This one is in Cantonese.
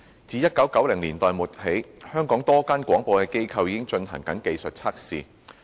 自1990年代末起，香港多間廣播機構已進行技術測試。